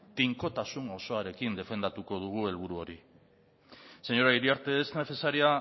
tinkotasun osoarekin defendatuko dugu helburu hori señora iriarte es necesaria